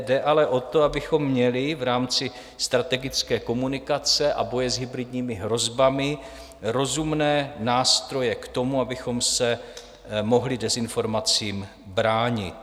Jde ale o to, abychom měli v rámci strategické komunikace a boje s hybridními hrozbami rozumné nástroje k tomu, abychom se mohli dezinformacím bránit.